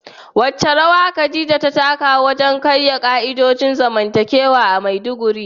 Wace rawa Khadija ta taka wajen karya ka'idojin zamantakewa a Maiduguri?